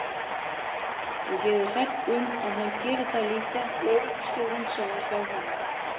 Og ég er hrædd um að hann geri það líka lögreglustjórinn sem var hjá honum.